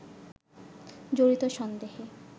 জড়িত সন্দেহে